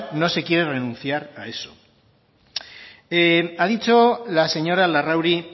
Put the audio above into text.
no se quiere renunciar a eso ha dicho la señora larrauri